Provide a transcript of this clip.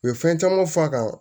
U ye fɛn camanw fɔ a kan